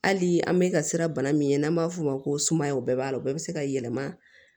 Hali an bɛ ka siran bana min ɲɛ n'an b'a f'o ma ko sumaya o bɛɛ b'a la o bɛɛ bɛ se ka yɛlɛma